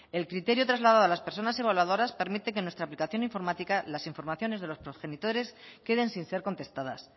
el criterio trasladado a las personas evaluadoras permite que en nuestra aplicación informática las informaciones de los progenitores queden sin ser contestadas